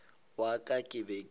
ya ka ke be ke